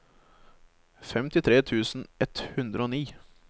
femtitre tusen ett hundre og ni